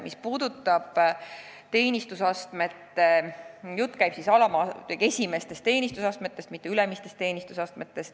Mis puudutab teenistusastmeid, siis jutt käib madalamatest teenistusastmetest, mitte ülemistest.